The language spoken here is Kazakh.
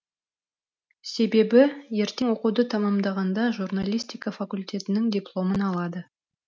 себебі ертең оқуды тамамдағанда журналистика факультетінінің дипломын алады